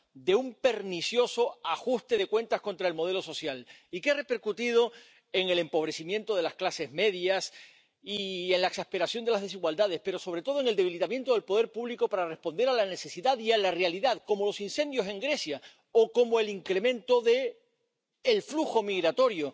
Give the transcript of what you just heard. de un pernicioso ajuste de cuentas contra el modelo social, y que ha repercutido en el empobrecimiento de las clases medias y en la exasperación de las desigualdades, pero, sobre todo, en el debilitamiento del poder público para responder a la necesidad y a la realidad, como los incendios en Grecia o como el incremento del flujo migratorio.